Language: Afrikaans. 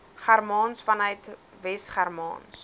germaans vanuit wesgermaans